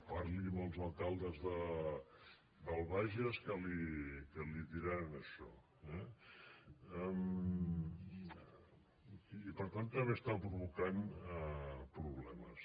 parli amb els alcaldes del bages que li diran això eh i per tant també està provocant problemes